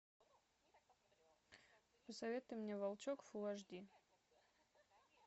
посоветуй мне волчок фулл аш ди